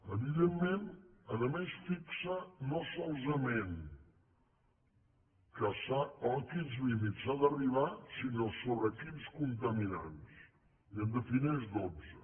evidentment a més fixa no solament a quins límits s’ha d’arribar sinó sobre quins contaminants i en defineix dotze